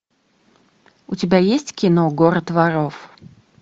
у тебя есть кино город воров